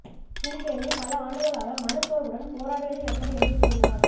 gym Carrey பல ஆண்டுகளாக மனச்சோர்வுடன் போராடியது எப்படி என்று கூறினார்